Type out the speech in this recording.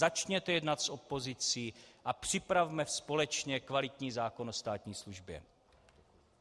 Začněte jednat s opozicí a připravme společně kvalitní zákon o státní službě.